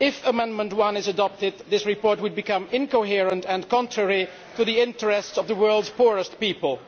If Amendment 1 is adopted, then this report would become incoherent and contrary to the interests of the world's poorest people.